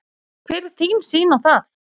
Hver er þín sýn á það?